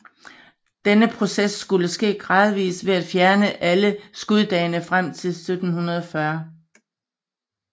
Denne proces skulle ske gradvis ved at fjerne alle skuddagene frem til 1740